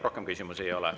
Rohkem küsimusi ei ole.